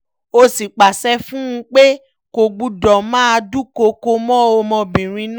ó sì pàṣẹ fún un pé kò gbọ́dọ̀ máa dúnkookò mọ́ ọmọbìnrin náà